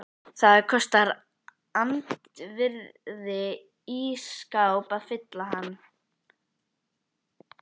Það kostar andvirði ís skáps að fylla hann.